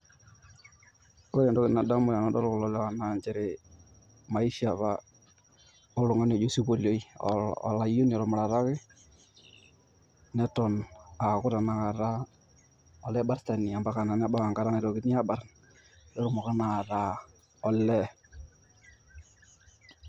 Ore entoki nadamu tenadol kulo lewa naa maisha apa oltung'ani aji osipolioi aa olayioni otumarataki neton aaku tanakata olaibartani ombaka naa nebau enkata naiatokini aabarrn, netumoki naa ataa olee.